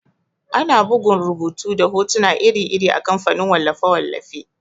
Ana bugun rubutu da hotuna iri-iri a kamfanin wallafe-wallafe.